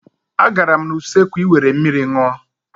Agara m n'usekwu I were mmiri ṅụọ.